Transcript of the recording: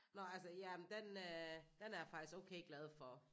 Nå altså jamen den øh den er jeg faktisk okay glad for